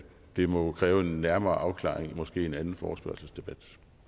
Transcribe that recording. det må jo kræve en nærmere afklaring måske i en anden forespørgselsdebat